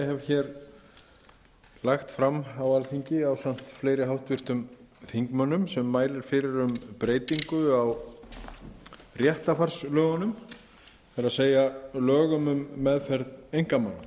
ég hef lagt fram á alþingi ásamt fleiri háttvirtum þingmönnum sem mælir fyrir um breytingu á réttarfarslögunum það er lögum um meðferð einkamála